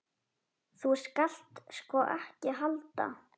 Þú skalt sko ekki halda.